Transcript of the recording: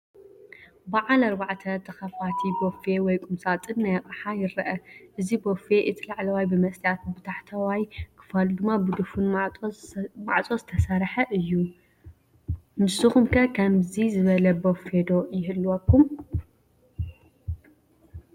ብዓል 4 ተኸፋቲ ቦፌ ወይ ቁምሳጥን ናይ ኣቕሓ ይረአ፡፡ እዚ ቤፌ እቲ ላዕለዋይ ብመስትያት፣ ብታሕተዋ ክፋሉ ድማ ብድፉን ማዕፆ ዝተሰርሐ እዩ ፡፡ ንስኹም ከ ከምዚ ዝበለ ቦፌ ዶ ይህልወኩም?